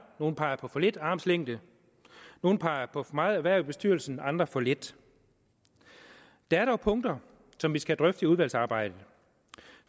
nogle peger på for lidt armslængde nogle peger på for meget erhverv i bestyrelsen andre for lidt der er dog punkter som vi skal drøfte i udvalgsarbejdet